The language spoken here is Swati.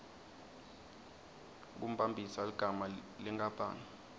kumbambisa ligama lenkapani